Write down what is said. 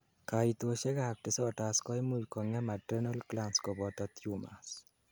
kaitosiek ab disorders koimuch kongem adrenal glands koboto tumors